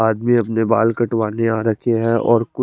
आदमी अपने बाल कटवाने आ रखे है और कु--